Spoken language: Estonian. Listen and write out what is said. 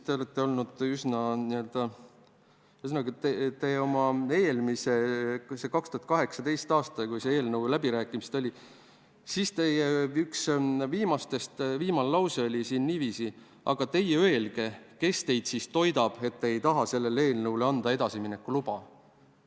Ühesõnaga, 2018. aastal, kui toimusid selle eelnõu läbirääkimised, ütlesite te nii: "Aga teie öelge, kes teid siis toidab, et te ei taha sellele eelnõule anda edasimineku luba".